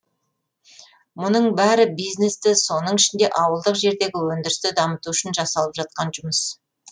мұның бәрі бизнесті соның ішінде ауылдық жердегі өндірісті дамыту үшін жасалып жатқан жұмыс